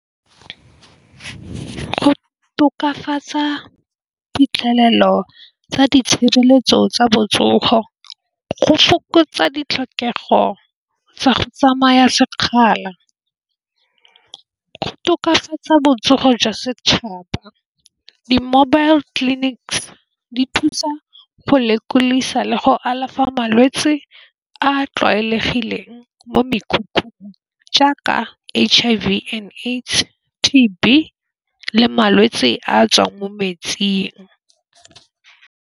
Go tokafatsa phitlhelelo tsa di tshireletso tsa botsogo. Go fokotsa ditlhokego tsa go tsamaya sekgala go tokafatsa botsogo jwa setšhaba di-mobile clinics di thusa go lekolisa le go alafa malwetsi a tlwaelegileng mo mekhukhung jaaka H_I_V and AIDS, T_B le malwetse a tswang mo metsing.